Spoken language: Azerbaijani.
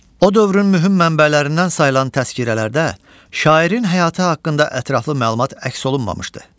O dövrün mühüm mənbələrindən sayılan təzkirələrdə şairin həyatı haqqında ətraflı məlumat əks olunmamışdı.